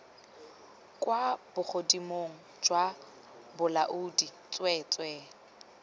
kwa bogodimong jwa bolaodi tsweetswee